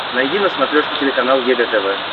найди на смотрешке телеканал егэ тв